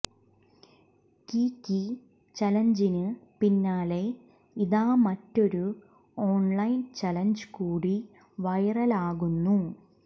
Kiki ചലഞ്ചിന് പിന്നാലെ ഇതാ മറ്റൊരു ഓണ്ലൈന് ചലഞ്ച് കൂടി വൈറലാകുന്നു